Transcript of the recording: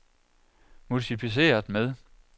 multipliceret med